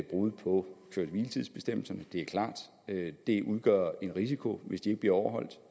brud på køre hvile tids bestemmelserne det er klart det udgør en risiko hvis de ikke bliver overholdt